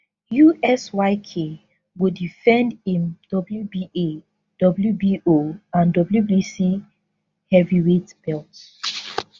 us yk go defend im wba, wbo and wbc heavyweight belts